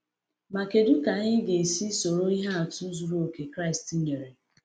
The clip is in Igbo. Ma kedu ka anyị ga-esi soro ihe atụ zuru oke Kraịst nyere?